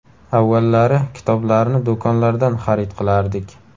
Avvallari kitoblarni do‘konlardan xarid qilardik.